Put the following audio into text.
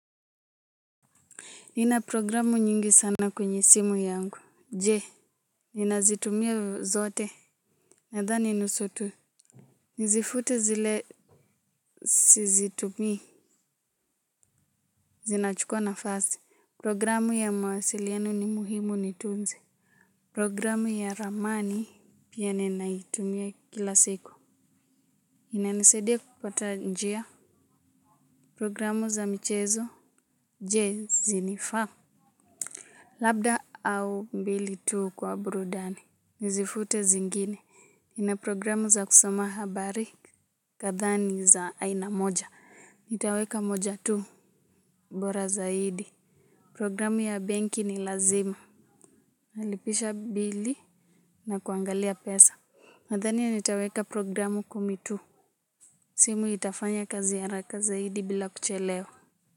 Nina programu nyingi sana kwenye simu yangu. Je, ninazitumia zote? Nadhani nusu tu. Nizifute zile sizitumi. Zinachukua nafasi. Programu ya mawasiliano ni muhimu, niitunze. Programu ya ramani pia ninaitumia kila siku. Inanisadia kupata njia. Programu za michezo. Je, zinifaa? Labda au mbili tu kwa burudani. Nizifute zingine. Ina programu za kusoma habari kadhaa ni za aina moja. Nitaweka moja tu bora zaidi. Programu ya benki ni lazima. Nalipisha bili na kuangalia pesa. Nadhani nitaweka programu kumi tu. Simu itafanya kazi haraka zaidi bila kuchelewa.